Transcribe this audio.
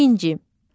Birinci.